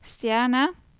stjerne